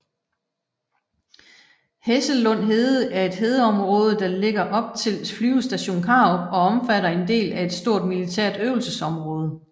Hessellund Hede er et hedeområde der ligger op til Flyvestation Karup og omfatter en del af et stort militært øvelsesområde